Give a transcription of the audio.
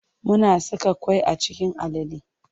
Muna saka ƙwai a cikin alale.